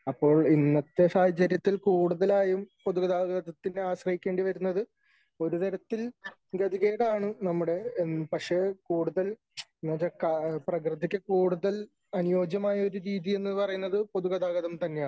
അപ്പോൾ ഇന്നത്തെ സാഹചര്യത്തിൽ കൂടുതലായും പൊതുഗതാഗതത്തിനെ ആശ്രയിക്കേണ്ടി വരുന്നത് ഒരു തരത്തിൽ ഗതികേടാണ് നമ്മുടെ പക്ഷേ കൂടുതൽ എന്ന് വച്ചാൽ പ്രകൃതിക്ക് കൂടുതൽ അനുയോജ്യമായ ഒരു രീതി എന്ന് പറയുന്നത് പൊതുഗതാഗതം തന്നെയാണ് .